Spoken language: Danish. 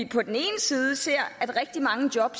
på den ene side ser at rigtig mange job